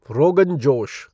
rogan josh